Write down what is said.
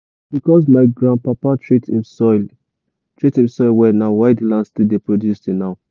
na because my grandpapa treat him soil treat him soil well na why the land still dey produce till now.